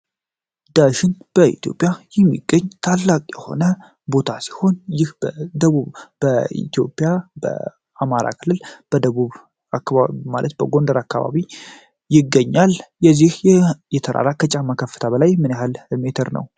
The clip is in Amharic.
እራስ ዳሽን በኢትዮጵያ የሚገኝ ታላቅ የሆነ ቦታ ሲሆን ደግሞ በኢትዮጵያ በ አማራ ክልል በደቡብ ማለት በጎንደር አካባቢ ይገኛል የዚህ የተራራ ከጫማ ከፍታበላይ ምን ያህል ሜትር ነዉ?